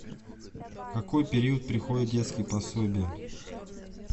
в какой период приходят детские пособия